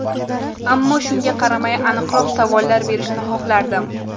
Ammo shunga qaramay, aniqroq savollar berishni xohlardim.